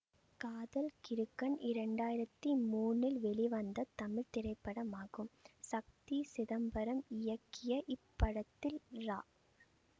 காதல் கிறுக்கன் இரண்டாயிரத்தி மூனில் வெளிவந்த தமிழ் திரைப்படமாகும் சக்தி சிதம்பரம் இயக்கிய இப்படத்தில் ரா